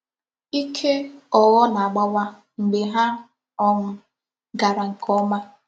Ike.ogho na-agbawa mgbe ha um kara nke oma.